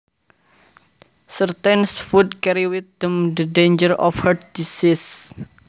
Certain foods carry with them the danger of heart disease